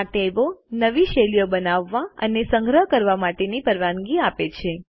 આ ટેબો નવી શૈલીઓ બનાવવા અને સંગ્રહ કરવા માટેની પરવાનગી આપે છે